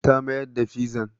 Ta mayar da fizan.